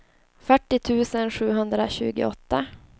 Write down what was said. fyrtio tusen sjuhundratjugoåtta